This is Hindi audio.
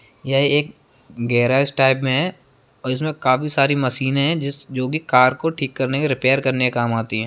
ये एक गैराज टाइप में है और इसमें काफी सारी मशीने है जिस जो कि कार को ठीक करने के रिपेयर करने के काम आती है।